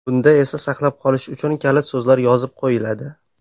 Bunda esda saqlab qolish uchun kalit so‘zlar yozib qo‘yiladi.